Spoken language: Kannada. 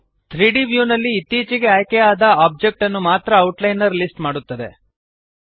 3ದ್ ವ್ಯೂ ನಲ್ಲಿ ಇತ್ತೀಚೆಗೆ ಆಯ್ಕೆಯಾದ ಆಬ್ಜೆಕ್ಟ್ ಅನ್ನು ಮಾತ್ರ ಔಟ್ಲೈನರ್ ಲಿಸ್ಟ್ ಮಾಡುತ್ತದೆ